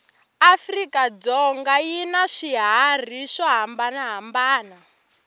afrika dzonga yinaswihharhi swohhambana hhambana